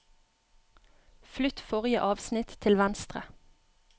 Flytt forrige avsnitt til venstre